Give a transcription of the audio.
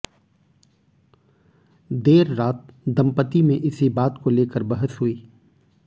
देर रात दम्पति में इसी बात को लेकर बहस हुई